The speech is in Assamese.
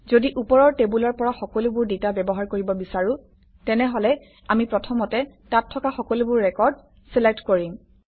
যদি ওপৰৰ টেবুলৰ পৰা সকলোবোৰ ডাটা ব্যৱহাৰ কৰিব বিচাৰোঁ তেনেহলে আমি প্ৰথমতে তাত থকা সকলোবোৰ ৰেকৰ্ড চিলেক্ট কৰিম